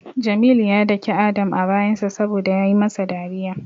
Jamilu ya dake Adam a bayansa saboda yayi masa dariya.